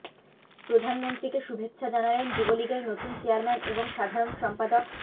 প্রধানমন্ত্রীকে শুভেচ্ছা জানালেন যুবলীগের নতুন চেয়ারম্যান এবং সাধারণ সম্পাদক